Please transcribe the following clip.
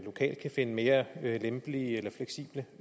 lokalt kan finde mere lempelige eller fleksible